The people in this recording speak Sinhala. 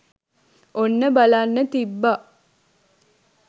ඔන්න බලන්න තිබ්බා